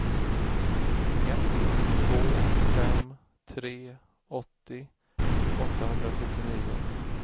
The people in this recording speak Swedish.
ett två fem tre åttio åttahundrasjuttionio